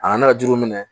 A nana ne ka jiriw minɛ